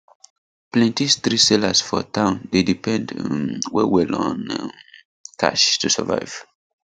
plenty street sellers for town dey depend um well well on um cash to survive